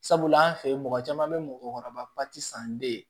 Sabula an fɛ yen mɔgɔ caman bɛ mɔgɔkɔrɔba san den ye